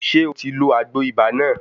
Ṣé o ti lo àgbo ibà náà?